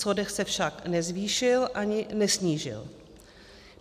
Schodek se však nezvýšil ani nesnížil.